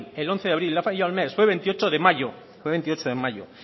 el once de abril le ha fallado el mes fue veintiocho de mayo fue veintiocho de mayo